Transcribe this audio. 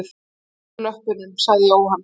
Afturlöppunum? sagði Jóhann.